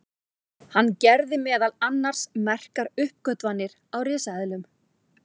hann gerði meðal annars merkar uppgötvanir á risaeðlum